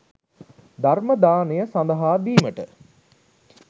ධර්ම දානය සඳහා දීමට